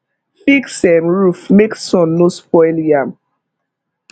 fix um roof make sun no spoil yam